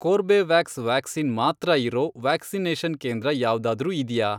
Corbevax vaccine ಮಾತ್ರ ಇರೋ vaccination ಕೇಂದ್ರ ಯಾವ್ದಾದ್ರೂ ಇದ್ಯಾ?